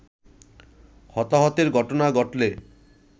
হতাহতের ঘটনা ঘটলে